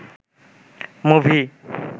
movie